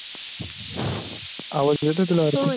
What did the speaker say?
आवाज येत आहे का तुला आरुषी?